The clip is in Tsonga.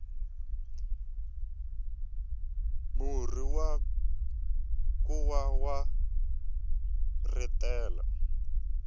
murhi wa nkuwa wa rhetela